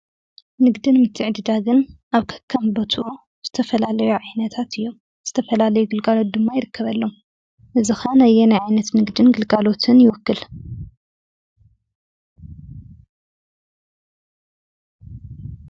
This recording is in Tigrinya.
ንግድን ምትዕድዳግን ኣብ ከከም ቦትኡ ዝተፈላለዩ ዓይነታት እዮም። ዝተፈላለዩ ግልጋሎት ድማ ይርከበሎም። እዙይ ከዓ ነየናይ ዓይነት ንግድን ግልጋሎትን ይውክል?